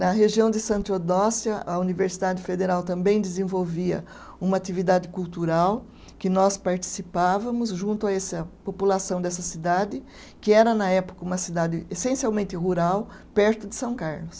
Na região de Santa Eudóxia, a Universidade Federal também desenvolvia uma atividade cultural, que nós participávamos junto a essa população dessa cidade, que era na época uma cidade essencialmente rural, perto de São Carlos.